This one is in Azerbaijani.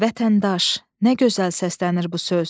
Vətəndaş, nə gözəl səslənir bu söz.